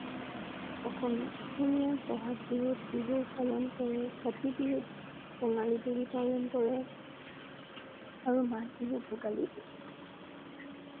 অসমীয়া, অসমীয়া বহাগ বিহুত বিহু পালন কৰে। কাটি বিহুত কঙলী বুলি পালন কৰে আৰু মাঘ বিহু ভোগালী